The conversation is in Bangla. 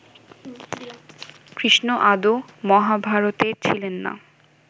কৃষ্ণ আদৌ মহাভারতে ছিলেন না